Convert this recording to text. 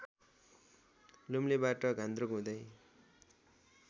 लुम्लेबाट घान्द्रुक हुँदै